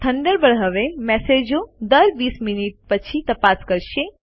Thunderbird હવે મેસેજો દર 20 મિનિટ પછી તપાસ કરશે